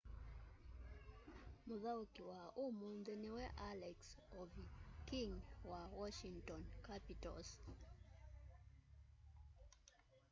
mũthaũki wa ũmũnthĩ nĩwe alex ovechkin wa washington capitals